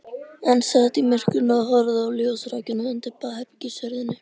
Hann sat í myrkrinu og horfði á ljósrákina undir baðherbergishurðinni.